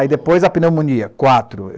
Aí depois a pneumonia, quatro.